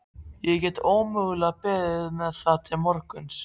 Ég get ómögulega beðið með það til morguns.